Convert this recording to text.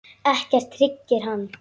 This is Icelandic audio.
Ekkert hryggir hann.